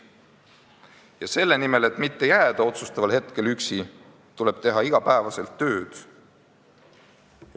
Ja selle nimel, et mitte otsustaval hetkel üksi jääda, tuleb iga päev tööd teha.